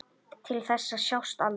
Til þess að sjást aldrei.